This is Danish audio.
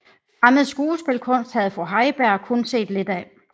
Fremmed skuespilkunst havde fru Heiberg kun set lidt af